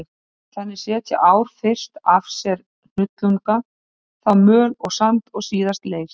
Þannig setja ár fyrst af sér hnullunga, þá möl og sand og síðast leir.